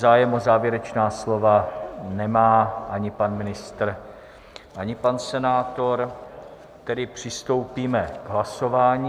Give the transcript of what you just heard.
Zájem o závěrečná slova nemá ani pan ministr, ani pan senátor, tedy přistoupíme k hlasování.